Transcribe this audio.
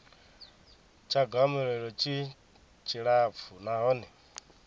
tsha gomelelo tshi tshilapfu nahone